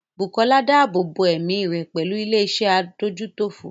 Bukola dáàbò bo ẹ̀mí rẹ̀ pẹ̀lú ilé iṣẹ́ adójútòfò.